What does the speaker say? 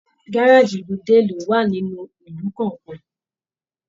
Gárájí ìlú dé ìlú wá nínú ìlú kọọkan.